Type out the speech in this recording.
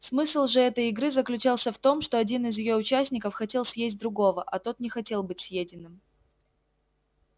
смысл же этой игры заключался в том что один из её участников хотел съесть другого а тот не хотел быть съеденным